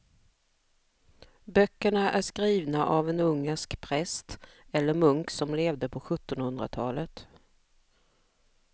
Böckerna är skrivna av en ungersk präst eller munk som levde på sjuttonhundratalet.